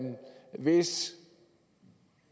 hvis